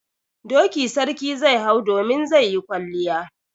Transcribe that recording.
Doki sarki zai hau domin zai yi kwalliya.